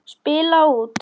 Spila út.